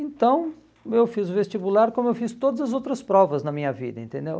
Então, eu fiz o vestibular como eu fiz todas as outras provas na minha vida, entendeu?